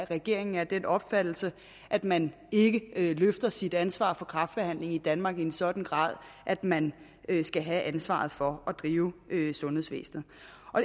regeringen er af den opfattelse at man ikke løfter sit ansvar for kræftbehandlingen i danmark i en sådan grad at man skal have ansvaret for at drive sundhedsvæsenet